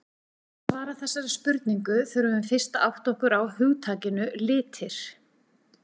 Til þess að svara þessari spurningu þurfum við fyrst að átta okkur á hugtakinu litir.